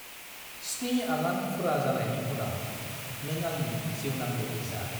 स्नि आगान फुरा जानायनि उनाव, नों आंनि जिउनां लोगो जा।